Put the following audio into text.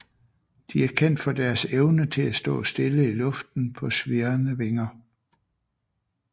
De er kendt for deres evne til at stå stille i luften på svirrende vinger